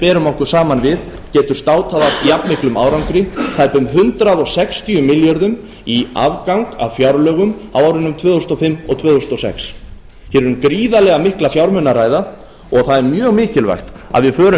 berum okkur saman við getur státað af jafnmiklum árangri tæpum hundrað sextíu milljörðum í afgang á fjárlögum á árinu tvö þúsund og fimm til tvö þúsund og sex hér er um gríðarlega mikla fjármuni að ræða og það er mjög mikilvægt að við förum vel